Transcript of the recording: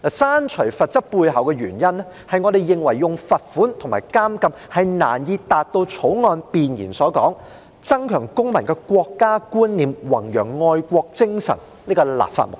刪除罰則背後的原因，是我們認為以罰款和監禁是難以達到《條例草案》弁言所說"增強公民的國家觀念，以及弘揚愛國精神"這立法目的。